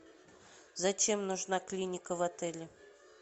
зачем нужна клиника в отеле